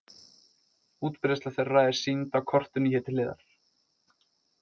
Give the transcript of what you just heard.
Útbreiðsla þeirra er sýnd á kortinu hér til hliðar.